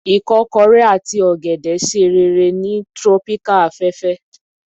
ikokore ati ogede ṣe rere ni Tropical afefe